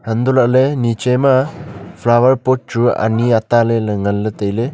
hanto lale neeche ma flower pot chu ani ataa lele ngan le taile.